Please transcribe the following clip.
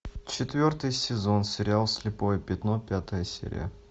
четвертый сезон сериал слепое пятно пятая серия